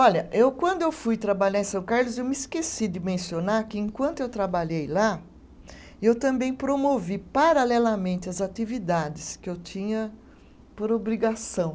Olha eu, quando eu fui trabalhar em São Carlos, eu me esqueci de mencionar que, enquanto eu trabalhei lá, eu também promovi paralelamente as atividades que eu tinha por obrigação.